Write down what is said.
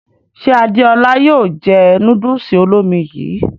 Ṣe Adéọlá yóò jẹ núdùùsì olómi yìí?